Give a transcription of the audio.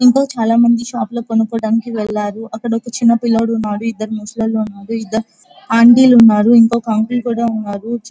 ఇంకా చాలా అంది షాపింగ్ కోకోటానికి వెళ్లరు అక్కడా ఒక చిన్న పిల్లవాడు ఉన్నాడు. ఇద్దరు ముసలి వాళ్ళు ఉన్నారు. ఇద్దరు అంటి ల్లు ఉన్నారు. ఇంకొక అంకుల్ కూడా ఉన్నారు.